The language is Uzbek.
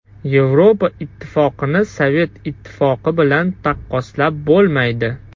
Yevropa Ittifoqini Sovet Ittifoqi bilan taqqoslab bo‘lmaydi.